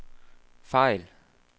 fejl